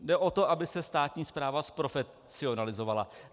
Jde o to, aby se státní správa zprofesionalizovala.